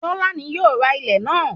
Tọ́lá ni yóò ra ilẹ̀ náà